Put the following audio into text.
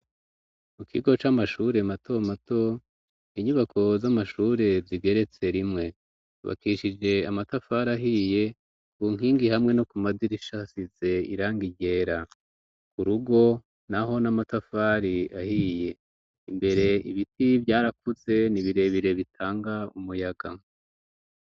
Mu kigo c'amashure mato mato, inyubako z'amashure zigeretse rimwe. Yubakishije amatafari ahiye, ku nkingi hamwe no ku madirisha hasize irangi ryera. Ku rugo naho ni amatafari ahiye. Imbere ibiti vyarakuze ni birebire bitanga umuyaga.